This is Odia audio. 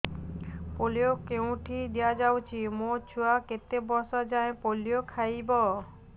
ପୋଲିଓ କେଉଁଠି ଦିଆଯାଉଛି ମୋ ଛୁଆ କେତେ ବର୍ଷ ଯାଏଁ ପୋଲିଓ ଖାଇବ